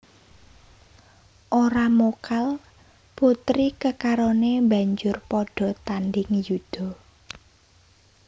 Ora mokal putri kekarone banjur padha tanding yuda